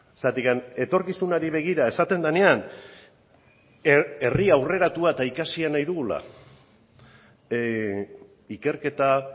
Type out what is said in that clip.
zergatik etorkizunari begira esaten denean herri aurreratua eta ikasia nahi dugula ikerketa